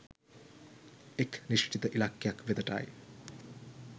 එක් නිශ්චිත ඉලක්කයක් වෙතට යි.